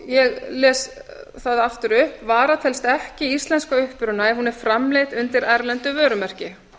ég les það aftur upp vara telst ekki íslensk að uppruna ef hún er framleidd undir erlendu vörumerki